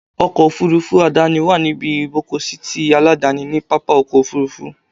Ọkọ̀ Òfurufú àdáni wà ní ibi ìgbọ́kọ̀sí ti aládàáni ni pápá ọkọ̀ Òfurufú.